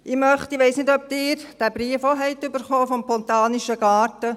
Ich weiss nicht, ob Sie diesen Brief auch erhalten haben vom Botanischen Garten.